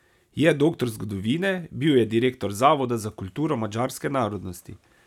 Je doktor zgodovine, bil je direktor Zavoda za kulturo madžarske narodnosti.